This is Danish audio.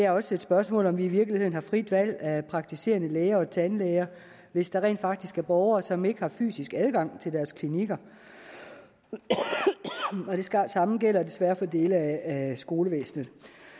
også et spørgsmål om vi i virkeligheden har frit valg af praktiserende læge og tandlæge hvis der rent faktisk er borgere som ikke har fysisk adgang til deres klinikker det samme gælder desværre for dele af skolevæsenet